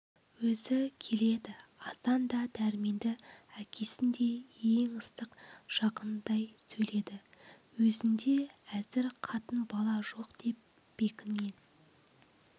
өзі келеді асан да дәрменді әкесіндей ең ыстық жақынындай сөйледі өзінде әзір қатын-бала жоқ деп бекінген